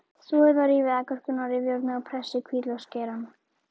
Þvoið og rífið agúrkuna á rifjárni og pressið hvítlauksgeirann.